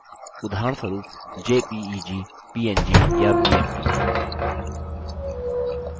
उदाहरणस्वरुपjpeg png या bmp